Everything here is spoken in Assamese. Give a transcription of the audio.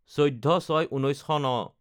১৪/০৬/১৯০৯